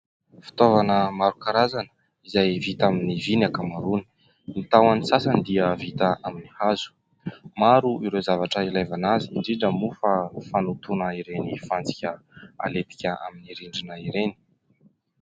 Fitaovana maro karazana izay vita amin'ny vy ny ankamaroany. Ny tahony sasany dia vita amin'ny hazo. Maro ireo zavatra ilavana azy indrindra moa fa fanotoana ireny fantsika halentika amin'ny rindrina ireny.